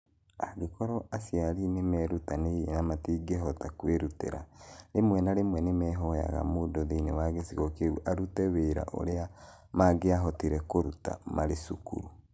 Angĩkorũo aciari nĩ merutanĩirie na matingĩhota kwĩrutĩra, rĩmwe na rĩmwe nĩ mahoyaga mũndũ thĩinĩ wa gĩcigo kĩu arute wĩra ũrĩa mangĩahotire kũruta marĩ cukuru.